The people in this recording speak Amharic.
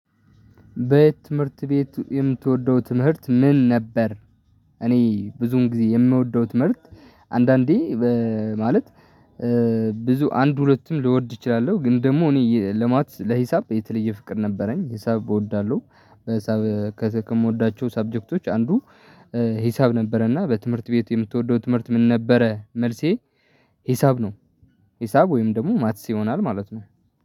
በትምህርት ቤት የምትወደው ትምህርት ምን ነበር? እኔ ብዙን ጊዜ የምወደው ትምህርት። አንዳንዴ ማለት። ብዙ አንድ ሁለቱም ልወድ እችላለሁ ግን ደግሞ እኔ ለማት ለሂሳብ የተለየ ፍቅር ነበረኝ ሂሳብ እወዳለሁ። ከምወዳቸው ሰብጀክቶች አንዱ። ሂሳብ ነበረና በትምህርት ቤት የምትወደው ትምህርት ምን ነበረ? መልሴ ሂሳብ ነው። ሂሳብ ወይም ደግሞ ማትስ ይሆናል ማለት ነው